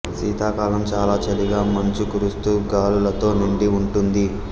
శీతాకాలం చాలా చలిగా మంచు కురుస్తూ గాలులతో నిండి ఉంటుంది